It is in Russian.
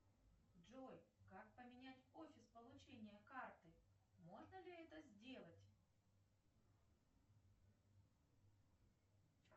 джой как поменять офис получения карты можно ли это сделать